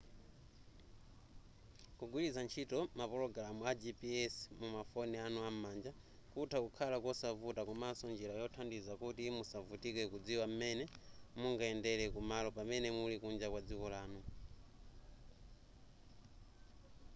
kugwiritsa ntchito mapulogalamu a gps mumafoni anu am'manja kutha kukhala kosavuta komaso njira yothandiza kuti musavutike kudziwa m'mene mungayendere kumalo pamene muli kunja kwa dziko lanu